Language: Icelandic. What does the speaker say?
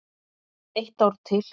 Eitt ár til.